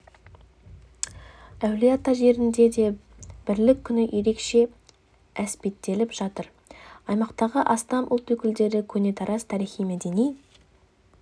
әулие ата жерінде де бірлік күні ерекше әспеттеліп жатыр аймақтағы астам ұлт өкілдері көне тараз тарихи-мәдени